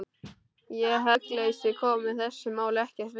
Ég held að hugleysi komi þessu máli ekkert við.